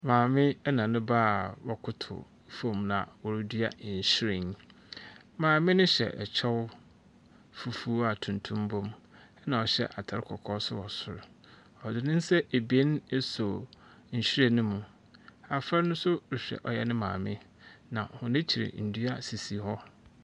Maame ɛna ne baa wɔ kotow fom na wɔredua nhyiren. Maame no hyɛ ɛkyɛw fufuw a tuntum bom ena ɔhyɛ atar kɔkɔɔ ɛwɔ soro. Ɔdzi n'sa ebien eso nhyiren no mu, afra no so rehwɛ ɔyɛ ne maame na wɔn akyir n'dua sisi hɔ.